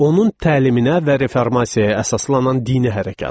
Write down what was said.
onun təliminə və reformasiyaya əsaslanan dini hərəkat.